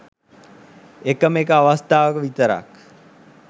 එකම එක අවස්තාවක විතරක්